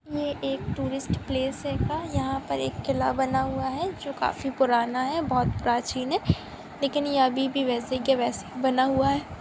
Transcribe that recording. एक tourist place है का यहा पर एक किल्ला बना हुआ है जो काफी पुराना है जो की बोहत प्राचीन है लेकिन ये अभी भी वैसे के वैसे बना हुआ है।